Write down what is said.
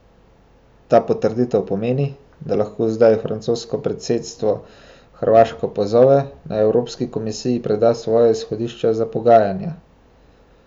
Ta potrditev pomeni, da lahko zdaj francosko predsedstvo Hrvaško pozove, naj evropski komisiji preda svoja izhodišča za pogajanja.